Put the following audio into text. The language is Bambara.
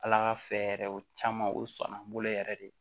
Ala ka fɛ yɛrɛ o caman o sɔnna n bolo yɛrɛ de